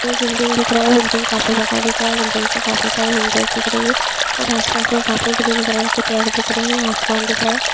एक बिल्डिंग दिख रहा हैं बिल्डिंग काफी बड़ा दिख रहा हैं बिल्डिंग से काफी ससारे विंडोज़ दिख रही हैं और आसपास मे काफी सारे पेड़ दिख रहे हैं आसमान दिख रहा है।